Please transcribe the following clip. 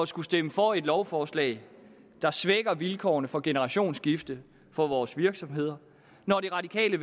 skulle stemme for et lovforslag der svækker vilkårene for generationsskifte for vores virksomheder når det radikale